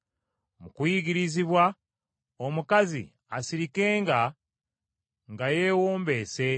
Mu kuyigirizibwa, omukazi asirikenga nga yeewombeese.